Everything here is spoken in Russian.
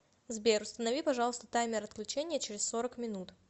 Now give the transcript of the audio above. сбер установи пожалуйста таймер отключения через сорок минут